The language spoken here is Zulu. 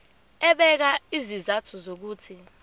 ebeka izizathu zokuthi